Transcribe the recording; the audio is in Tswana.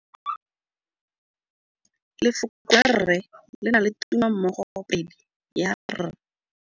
Lefoko la rre le na le tumammogôpedi ya, r.